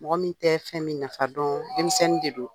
Mɔgɔ min tɛ fɛn min nafa dɔn denmisɛnnin de don